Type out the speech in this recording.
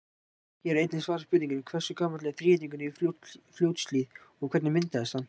Hér er einnig svarað spurningunni: Hversu gamall er Þríhyrningur í Fljótshlíð og hvernig myndaðist hann?